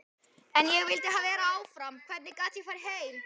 En ég vildi vera áfram, hvernig gat ég farið heim?